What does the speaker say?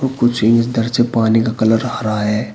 कुछ इस तरह से पानी का कलर हरा है।